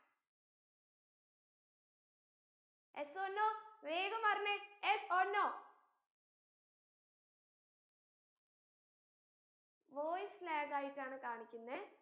yes or no വേഗം പറഞ്ഞെ yes or novoice lag ആയിട്ടാണ് കാണിക്കുന്നേ